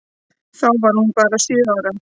Þá var hún bara sjö ára.